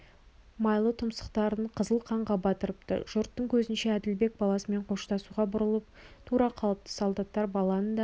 майлы тұмсықтарын қызыл қанға батырыпты жұрттың көзінше әділбек баласымен қоштасуға бұрылып тұра қалыпты солдаттар баланы да